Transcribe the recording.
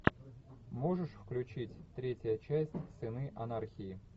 можешь включить третья часть сыны анархии